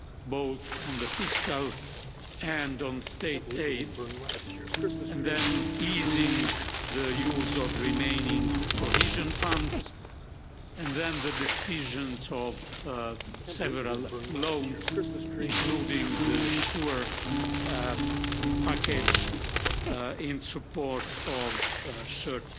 both on the fiscal and on state aid, and then easing the use of remaining cohesion funds and then the decisions of several loans, including the SURE package in support of short